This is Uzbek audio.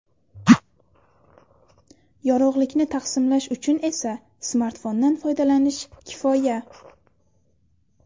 Yorug‘likni taqsimlash uchun esa smartfondan foydalanish kifoya.